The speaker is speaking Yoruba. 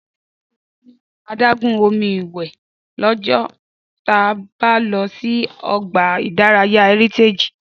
Dúpẹ́ yóò ṣeré nínú adágún omi ìwẹ̀ lọ́jọ́ ta bá lọ sí ọgbà ìdárayá Heritage